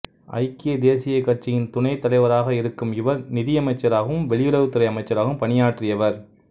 ஐக்கிய தேசியக் கட்சியின் துணைத் தலைவராக இருக்கும் இவர் நிதியமைச்சராகவும் வெளியுறவுத்துறை அமைச்சராகவும் பணியாற்றியவர்